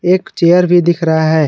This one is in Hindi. एक चेयर भी दिख रहा है।